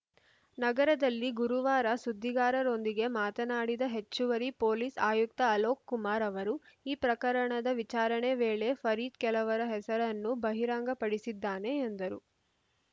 ನಗರದಲ್ಲಿ ಗುರುವಾರ ಸುದ್ದಿಗಾರರೊಂದಿಗೆ ಮಾತನಾಡಿದ ಹೆಚ್ಚುವರಿ ಪೊಲೀಸ್‌ ಆಯುಕ್ತ ಅಲೋಕ್‌ ಕುಮಾರ್‌ ಅವರು ಈ ಪ್ರಕರಣದ ವಿಚಾರಣೆ ವೇಳೆ ಫರೀದ್‌ ಕೆಲವರ ಹೆಸರನ್ನು ಬಹಿರಂಗಪಡಿಸಿದ್ದಾನೆ ಎಂದರು